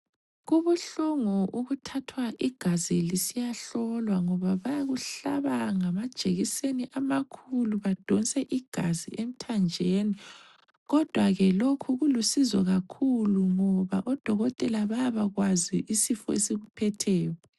Kubuhlungu ukuthathwa igazi lisiyahlolwa ngoba bayakuhlaba ngamajekiseni amakhulu badonse igazi emthanjeni kodwa ke lokhu kulusizo kakhulu ngoba odokotela bayabakwazi isifo esikuphetheyo.